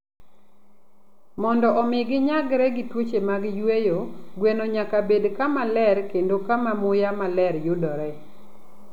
Mondo omi ginyagre gi tuoche mag yueyo, gweno nyaka bed kama ler kendo kama muya maler yudore.